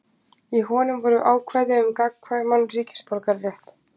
Í honum voru ákvæði um gagnkvæman ríkisborgararétt.